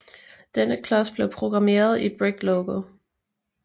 Denne klods blev programmeret i Brick Logo